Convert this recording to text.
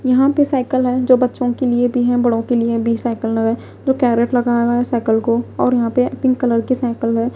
यहां पे साइकिल है जो बच्चों के लिए भी हैं बड़ों के लिए भी साइकिल लगे जो कैरेट लगा हुआ है साइकिल को और यहां पे पिंक कलर के साइकिल है।